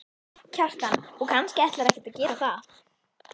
Kjartan: Og kannski ætlar ekkert að gera það?